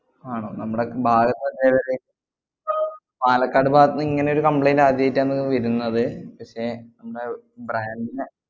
ആണോ നമ്മടെ ഭാഗത്തു തന്നെ പാലക്കാട് ഭാഗത്തുന്നിങ്ങനൊരു complaint ആദ്യായിട്ടാണ് വരുന്നത് പക്ഷെ നമ്മടെ brand ന